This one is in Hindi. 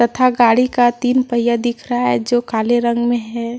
था गाड़ी का तीन पहिया दिख रहा है जो काले रंग में है।